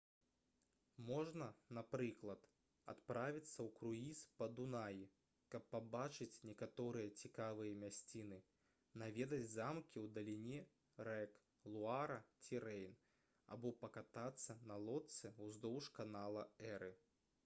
можна напрыклад адправіцца ў круіз па дунаі каб пабачыць некаторыя цікавыя мясціны наведаць замкі ў даліне рэк луара ці рэйн або пакатацца на лодцы ўздоўж канала эры